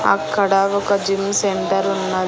అక్కడ ఒక gym centre ఉన్న--